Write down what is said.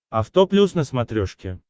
авто плюс на смотрешке